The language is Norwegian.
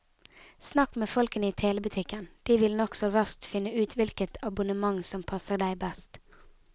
Snakk med folkene i telebutikken, de vil nokså raskt finne ut hvilket abonnement som passer deg best.